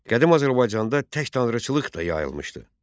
Qədim Azərbaycanda tək tanrıçılıq da yayılmışdı.